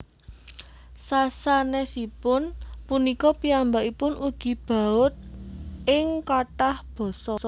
Sasanèsipun punika piyambakipun ugi baud ing kathah basa